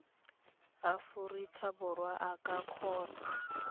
aforika borwa a ka kgona